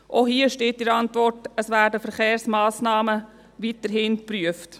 Auch hier steht in der Antwort, Verkehrsmassnahmen würden weiterhin geprüft.